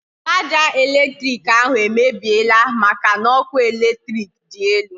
Sharger elektrik ahụ emebiela maka n'ọkụ eletrik dị elu